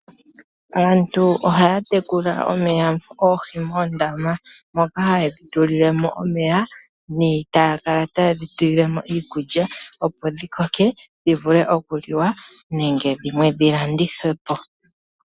Aantu ohaya tekula oohi moondama moka hayedhi tulilemo omeya . Etaya kala taye dhi tulilemo iikulya opo dhi koke dhi vule oku liwa nenge dhimwe dhi landithwepo.